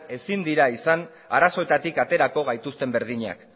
ezin dira izan arazoetatik aterako gaituzten berdinak